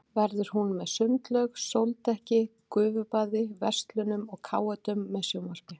Verður hún með sundlaug, sóldekki, gufubaði, verslunum og káetum með sjónvarpi.